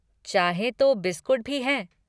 चाहे तो बिस्कुट भी हैं।